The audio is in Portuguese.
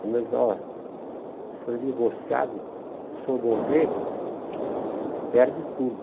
Me avisaram, olha, o senhor é divorciado, se o senhor morrer, perde tudo.